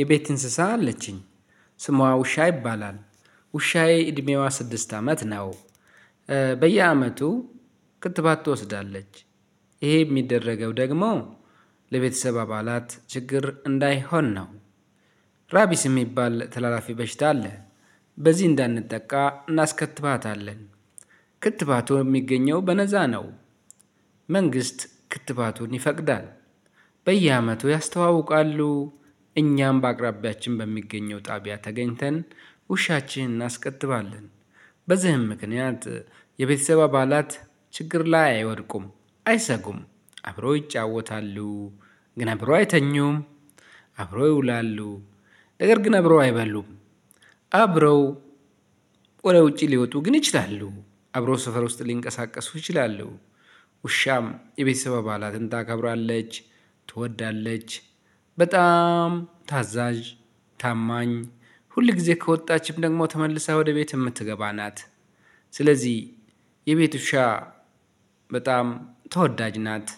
የቤት እንስሳ አለችኝ ስሟ ውሻ ይባላል ውሻዬ እድሜዋ ስድስት አመት ነው። በየአመቱ ክትባት ትወስዳለች። ይሄ የሚደረገው ደግሞ ለቤተሰብ አባላት ችግር እንዳይሆን ነው። ራቢስ የሚባል ተላላፊ በሽታ አለ። በዚህ እንዳንጠቃ እናስከትባታለን። ክትባቱ የሚገኘው በነፃ ነው። መንግስት ክትባቱን ይፈቅዳል። በየአመቱ ያስተዋውቃሉ እኛም በአቅራቢያችን በሚገኘው ጣቢያ ተገኝተን ውሻችን እናስከትባለን። በዚህም ምክንያት የቤተሰብ አባላት ችግር ላይ አይወድቁም አይሰጉም አብረው ይጫወታሉ። ግን አብረው አይተኙም። አብረው ይውላሉ። ነገር ግን አብረው አይበሉም። አብረው ወደ ውጪ ሊወጡ ግን ይችላሉ አብረው ሰፈር ውስጥ ሊንቀሳቀሱ ይችላሉ። ውሻም የቤተሰብ አባላትን ታከብራለች ትወዳለች በጣም ታዛዥ ታማኝ ሁል ጊዜ ከወጣችም ደግሞ ተመልሳ ወደ ቤት የምትገባ ናት። የቤት ውሻ በጣም ተወዳጅ ናት።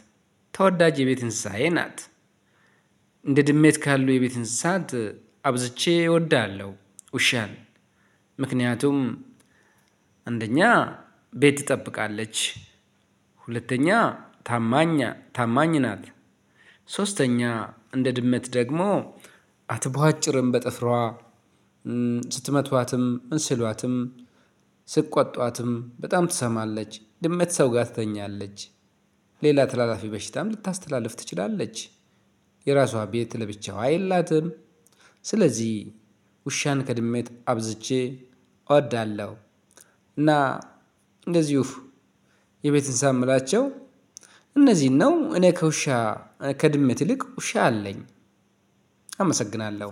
ተወዳጅ የቤት እንስሳዬ ናት። እንደ ድመት ካሉ የቤት እንስሳት አብዝቼ እወዳለሁ። ውሻን ምክንያቱም አንደኛ ቤት ትጠብቃለች። ሁለተኛ ታማኝ ታማኝ ናት። ሶስተኛ እንደ ድመት ደግሞ አትቧጭርም በጥፍሯ። ስትመቷትም እንስሏትም ስቋጧትም በጣም ትሰማለች። ድመት ሰው ጋር ትተኛለች። ሌላ ተላላፊ በሽታም ልታስተላልፍ ትችላለች። የራሷ ቤት ለብቻዋ የላትም። ስለዚህ ውሻን ከድመት አብዝቼ እወዳለሁ። እና እንደዚሁ የቤት እንስሳ የምላቸው እነዚህን ነው። እኔ ከውሻ ከድመት ይልቅ ውሻ አለኝ። አመሰግናለሁ።